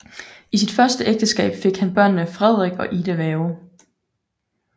I sit første ægteskab fik han børnene Frederik og Ida Werge